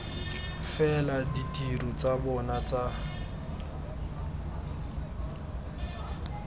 fela ditiro tsa bona tsa